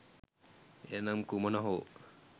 එය නම් කුමන හෝ